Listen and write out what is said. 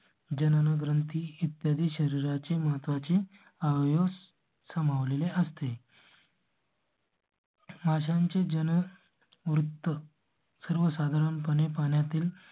जनन ग्रंथी इत्यादी शरीरा चे महत्वाचे आहे. ऊस सामाव लेले असते. अशांची जण वृद्ध सर्वसाधारणपणे पाण्या तील